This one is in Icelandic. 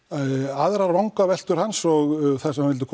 aðrar vangaveltur hans og það sem hann vildi